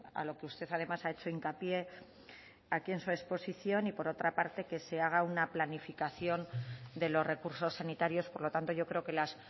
a lo que usted además ha hecho hincapié aquí en su exposición y por otra parte que se haga una planificación de los recursos sanitarios por lo tanto yo creo que las